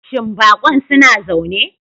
Shin bakon suna zaune?